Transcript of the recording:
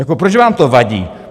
Jako proč vám to vadí?